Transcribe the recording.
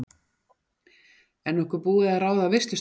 Er nokkuð búið að ráða veislustjóra?